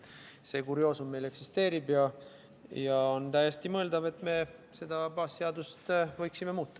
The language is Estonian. See kurioosum meil eksisteerib, aga on täiesti mõeldav, et me võiksime seda baasseadust muuta.